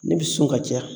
Ne bɛ sɔn ka diyan